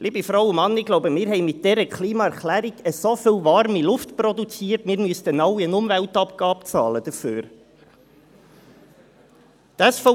Liebe Frauen und Männer, ich denke, wir haben mit dieser Klimaerklärung so viel warme Luft produziert, dass wir alle eine Umweltabgabe dafür entrichten müssten.